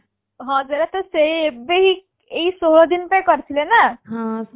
ହଁ ସେଇଟା ତ ସେ ଏବେ ହିଁ ଏହି ଷୋହଳ ଦିନ ପାଇଁ କରିଥିଲେ ନା